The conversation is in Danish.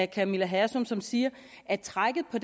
camilla hersom som siger at trækket på